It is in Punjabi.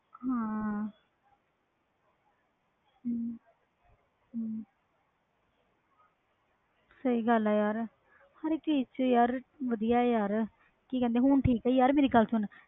ਹਾਂ ਸਹੀ ਗੱਲ ਯਾਰ ਹਰ ਕਿ ਚੀਜ਼ ਵਿਚ ਵਧਿਆ ਯਾਰ ਹੁਣ